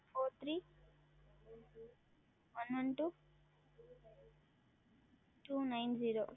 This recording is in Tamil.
FourThreeOneOneTwoTwoNineZero